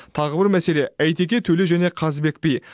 тағы бір мәселе әйтеке төле және қазыбек би